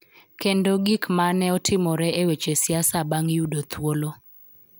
Kendo gik ma ne otimore e weche siasa bang� yudo thuolo.